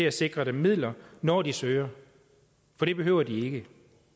at sikre dem midler når de søger for det behøver de ikke